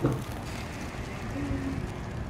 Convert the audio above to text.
первые ремиксы